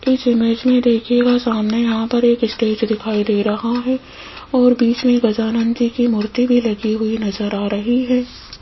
इस इमेज में देखिएगा सामने यहां पर एक स्टेज दिखाई दे रहा है और बीच में गजानंद जी की मूर्ति भी लगी हुई नजर आ रही है।